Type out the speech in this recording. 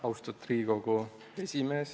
Austatud Riigikogu esimees!